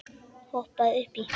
Hoppaðu upp í.